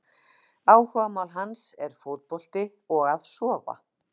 Áhugamál hans er fótbolti og að sofa!